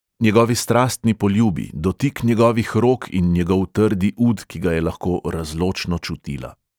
Njegovi strastni poljubi, dotik njegovih rok in njegov trdi ud, ki ga je lahko razločno čutila.